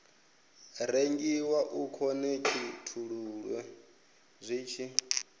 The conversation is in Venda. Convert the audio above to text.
rengiwa u khonekhithululwe zwi tshi